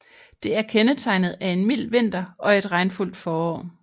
Det er kendetegnet af en mild vinter og et regnfuldt forår